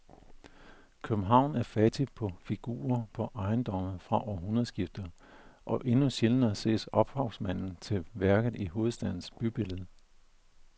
København er fattig på figurer på ejendommene fra århundredskiftet og endnu sjældnere ses ophavsmanden til værket i hovedstadens bybillede.